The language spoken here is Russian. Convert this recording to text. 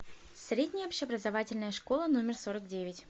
средняя общеобразовательная школа номер сорок девять